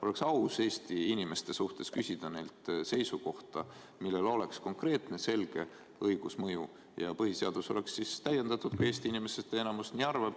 Oleks aus Eesti inimeste suhtes küsida neilt seisukohta, millel oleks konkreetne selge õigusmõju ja põhiseadus saaks täiendatud, kui Eesti inimestest enamik nii arvab.